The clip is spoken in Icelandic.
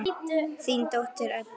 Þín dóttir, Edda.